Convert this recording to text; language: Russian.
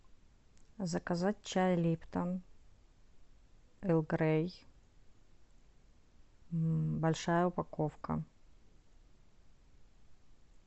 заказать чай липтон эрл грей большая упаковка